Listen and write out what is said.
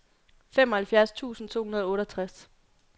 femoghalvfjerds tusind to hundrede og otteogtres